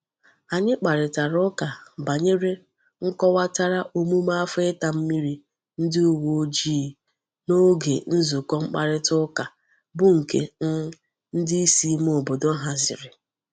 Anyi kparitara uka banyere nkowatara omume afo ita mmiri ndi uwe ojii n'oge nzuko mkparita uka bu nke um ndi isi ime obodo haziri.